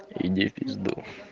иди в пизду